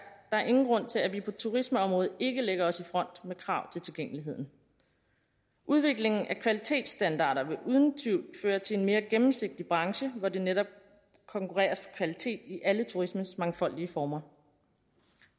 ingen grund til at vi på turismeområdet ikke lægger os i front med krav til tilgængeligheden udviklingen af kvalitetsstandarder vil uden tvivl føre til en mere gennemsigtig branche hvor der netop konkurreres på kvalitet i alle turismens mangfoldige former